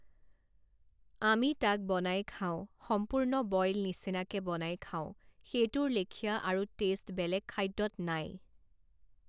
আমি তাক বনাই খাওঁ সম্পূৰ্ণ বইল নিছিনাকে বনাই খাওঁ সেইটোৰ লেখীয়া আৰু টেষ্ট বেলেগ খাদ্যত নাই৷